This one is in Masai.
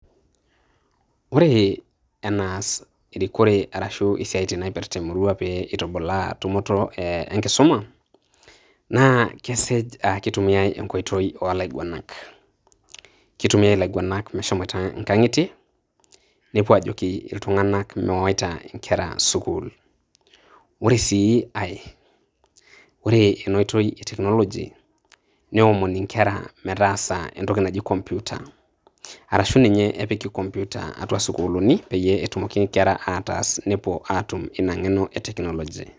Ore enaas erikore arashu esiaitin naipirta emurua pitubula tumoto enkisuma na kesej aah kitumiyiai enkoitoi olaiguanak kitumiyai ilainguanak meshomoita inkangitie nepuo ajoki iltungana mewaita nkera sukul, Ore si ae ore ena oitoi e toknology neomoni inkera meetasa entoki naaji komputer ashu ninye ninye epiki komputer atua sukulini peyie etumoki inkera atas nepuo atum ina ngeno eteknology.